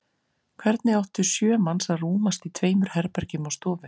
Hvernig áttu sjö manns að rúmast í tveimur herbergjum og stofu?